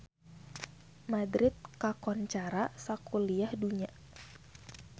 Madrid kakoncara sakuliah dunya